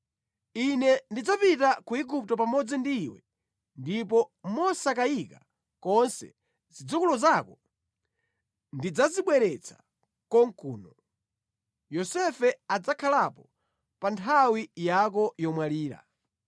Ine ndidzapita ku Igupto pamodzi ndi iwe ndipo mosakayika konse zidzukulu zako ndidzazibweretsa konkuno. Yosefe adzakhalapo pa nthawi yako yomwalira.”